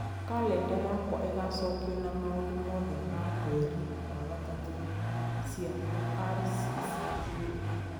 Kalenda yakwa ĩgaacokio na maũndũ mothe ma mweri wa gatatũ cia rccg